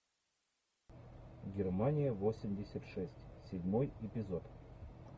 германия восемьдесят шесть седьмой эпизод